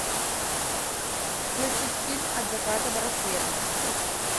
включить фильм от заката до рассвета